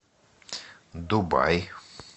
дубай